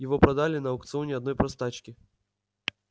его продали на аукционе одной простачке